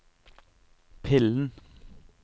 pillen